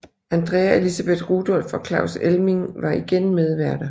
Andrea Elisabeth Rudolph og Claus Elming var igen medværter